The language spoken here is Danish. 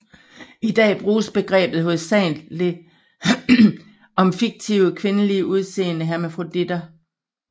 I dag bruges begrebet hovedsageligt om fiktive kvindeligt udseende hermafroditter